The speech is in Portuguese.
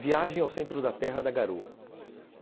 Viagem ao centro da terra da Garoa.